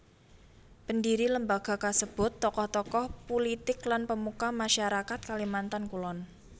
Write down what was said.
Pendhiri lembaga kasebut tokoh tokoh pulitik lan pemuka masyarakat Kalimantan Kulon